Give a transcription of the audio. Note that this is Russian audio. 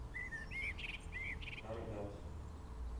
каргат